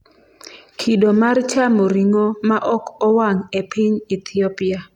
Kido mar chamo ring'o ma ok owang' e piny Ethiopia